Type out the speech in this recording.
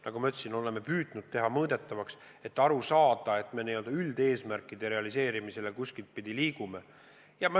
Nagu ma ütlesin, me oleme püüdnud paljud asjad teha mõõdetavaks, et aru saada, kuidas me üldeesmärkide realiseerimise poole liigume.